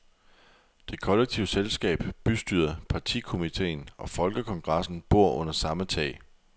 Det kollektive selskab, bystyret, partikomitéen og folkekongressen bor under samme tag.